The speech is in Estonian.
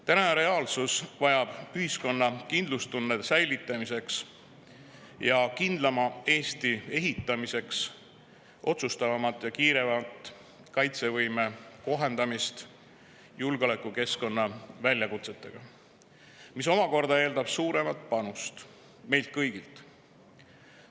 Tänases reaalsuses on vaja ühiskonna kindlustunde säilitamiseks ja kindlama Eesti ehitamiseks otsustavamat ja kiiremat kaitsevõime kohandamist julgeolekukeskkonna väljakutsetega, mis omakorda eeldab suuremat panust meilt kõigilt.